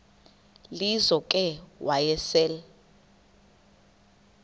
lizo ke wayesel